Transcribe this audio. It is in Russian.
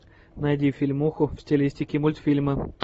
найди фильмуху в стилистике мультфильма